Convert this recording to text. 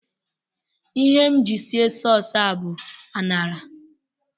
Ihe m ji sie sauce a bụ ạṅara